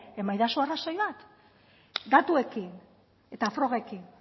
emaidazu arrazoi bat datuekin eta frogekin